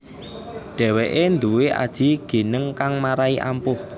Dheweke nduwé aji gineng kang marai ampuh